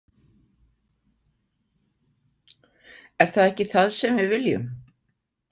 Er það ekki það sem við viljum?